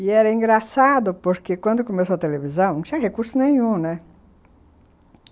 E era engraçado porque quando começou a televisão não tinha recurso nenhum, né?